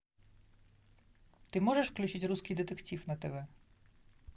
ты можешь включить русский детектив на тв